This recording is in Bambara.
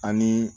Ani